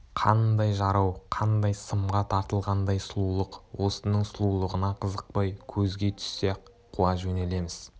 қандай жарау қандай сымға тартылғандай сұлулық осының сұлулығына қызықпай көзге түссе-ақ қуа жөнелеміз